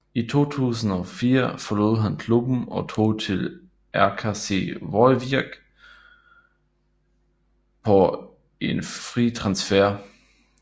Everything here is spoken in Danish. I 2004 forlod han klubben og tog til RKC Waalwijk på en fri transfer